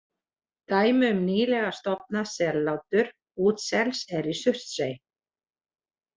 Dæmi um nýlega stofnað sellátur útsels er í Surtsey.